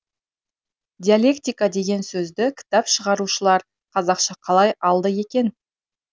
диалектика деген сөзді кітап шығарушылар қазақша қалай алды екен